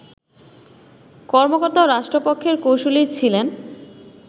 কর্মকর্তা ও রাষ্ট্রপক্ষের কৌঁসুলি ছিলেন